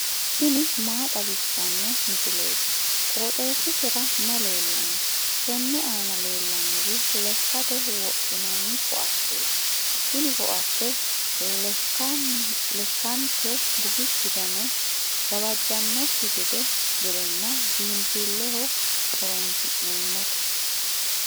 tini maa xawissanno misileeti? qooxeessisera may leellanno? tenne aana leellannori lekkate wodhinanni koatteeti tini koatte lekkanke gufichu gane gawajjannonkekki gedenna biinfilleho horoonsi'neemmote.